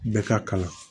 Bɛɛ ka kalan